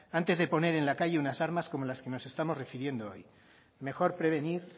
antes de poner en la calle unas armas como las que nos estamos refiriendo hoy mejor prevenir